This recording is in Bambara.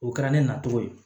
O kɛra ne na cogo ye